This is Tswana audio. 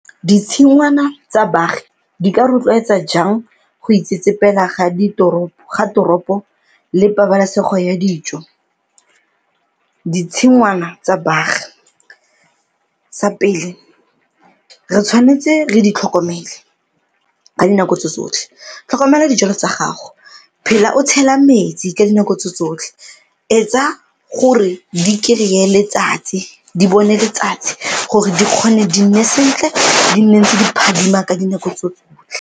Ditshingwana tsa baagi di ka rotloetsa jang go itsetsepela ga toropo le pabalesego ya dijo? Ditshingwana tsa baagi sa pele re tshwanetse re di tlhokomele ka dinako tsotsotlhe, tlhokomela dijalo tsa gago, phela o tshela metsi ka dinako tse tsotlhe, etsa gore di kry-e letsatsi, di bone letsatsi gore di kgone di nne sentle di nne ntse di phadima ka dinako tse tsotlhe.